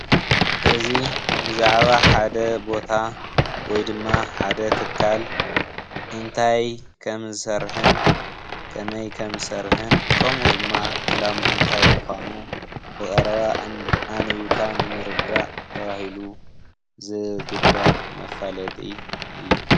እዚ ብዛዕባ ሓደ ቦታ ወይ ድማ ሓደ ትካል እንታይ ከምዝሰርሕን ከመይ ከምዝሰርሕን ከምኡ ድማ ዕላምኡ እንታይ ምዃኑ ብቐረባ ኣንቢብካ ንምርዳእ ተባሂሉ ዝግበር መፋለጢ አዩ።